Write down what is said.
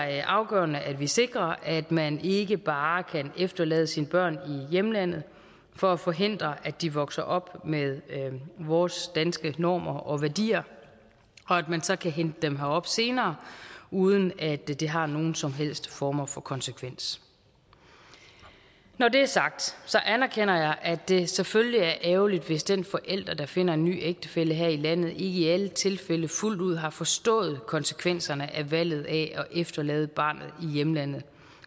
er afgørende at vi sikrer at man ikke bare kan efterlade sine børn i hjemlandet for at forhindre at de vokser op med vores danske normer og værdier og at man så kan hente dem herop senere uden at det det har nogen som helst former for konsekvens når det er sagt anerkender jeg at det selvfølgelig er ærgerligt hvis den forælder der finder en ny ægtefælle her i landet ikke i i alle tilfælde fuldt ud har forstået konsekvenserne af valget af at efterlade barnet i hjemlandet